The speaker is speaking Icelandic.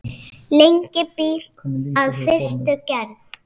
Lengi býr að fyrstu gerð.